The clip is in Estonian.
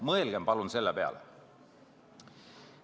Mõelgem palun selle peale.